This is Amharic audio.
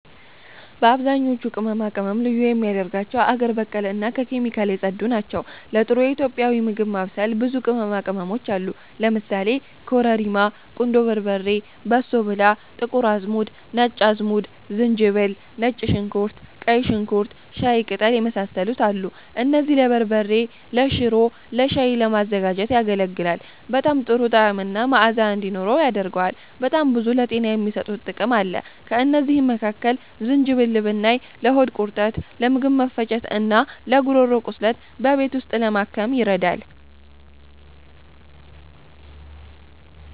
አብዛኞቹ ቅመማ ቅመም ልዩ የሚያደርጋቸው አገር በቀል እና ከኬሚካል የጸዱ ናቸው። ለጥሩ ኢትዮጵያዊ ምግብ ማብሰል ብዙ ቅመማ ቅመሞች አሉ ለምሳሌ፦ ኮረሪማ፣ ቁንዶ በርበሬ፣ በሶ ብላ፣ ጥቁር አዝሙድ፣ ነጭ አዝሙድ፣ ዝንጅብል፣ ነጭ ሽንኩርት፣ ቀይ ሽንኩርት፣ ሻይ ቀጠል፣ የመሳሰሉት አሉ። እነዚህም ለበርበሬ፤ ለሽሮ፣ ለሻይ ለማዘጋጀት ያገለግላል። በጣም ጥሩ ጣዕምና መአዛ እንዲኖርው ያደርገዋል። በጣም ብዙ ለጤና የሚሰጡትም ጥቅም አለ። ከእነዚህ መካከል ዝንጅብል ብናይ ለሆድ ቁርጠት፤ ለምግብ መፈጨት፣ እና ለጉሮሮ ቁስለት በቤት ውስጥ ለማከም ይረዳል